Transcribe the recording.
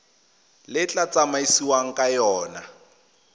le tla tsamaisiwang ka yona